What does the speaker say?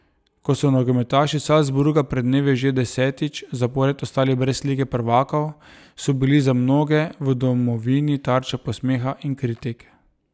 Ko so nogometaši Salzburga pred dnevi že desetič zapored ostali brez lige prvakov, so bili za mnoge v domovini tarča posmeha in kritik.